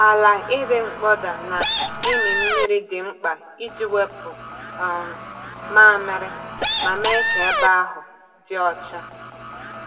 Ala ịdị mkpọda na ịmị mmiri dị mkpa iji wepụ um mmamịrị ma mee ka ebe ahụ dị ọcha.